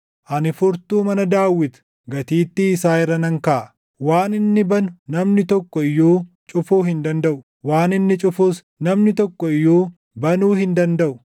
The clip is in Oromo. Ani furtuu mana Daawit gatiittii isaa irra nan kaaʼa; waan inni banu namni tokko iyyuu cufuu hin dandaʼu; waan inni cufus namni tokko iyyuu banuu hin dandaʼu.